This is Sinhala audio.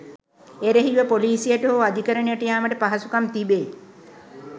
එරෙහිව පොලිසියට හෝ අධිකරණයට යාමට පහසුකම් තිබේ.